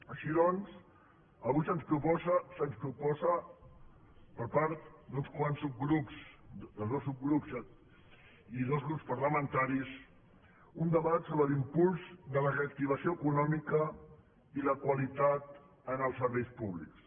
així doncs avui se’ns proposa per part d’uns quants subgrups de dos subgrups i dos grups parlamentaris un debat sobre l’impuls de la reactivació econòmica i la qualitat en els serveis públics